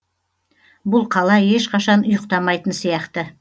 бұл қала ешқашан ұйықтамайтын сияқты